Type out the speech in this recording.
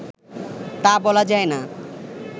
তা বলা যায়না